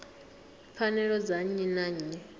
pfanelo dza nnyi na nnyi